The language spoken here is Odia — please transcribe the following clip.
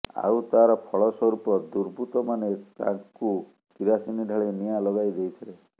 ଆଉ ତାର ଫଳ ସ୍ୱରୁପ ଦୁର୍ବୃତ୍ତମାନେ ତାଙ୍କୁ କିରାସିନି ଢାଳି ନିଆଁ ଲଗାଇ ଦେଇଥିଲେ